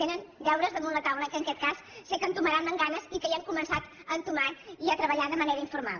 tenen deures damunt la taula que en aquest cas sé que entomaran amb ganes i que ja han començat a entomar i a treballar de manera informal